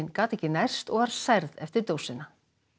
gat ekki nærst og var særð eftir dósina